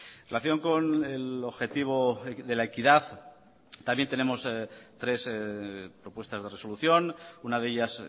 en relación con el objetivo de la equidad también tenemos tres propuestas de resolución una de ellas